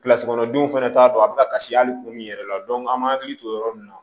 Kilasi kɔnɔndonw fana t'a dɔn a bɛ kasi hali kun min yɛrɛ la an m'an hakili to yɔrɔ min na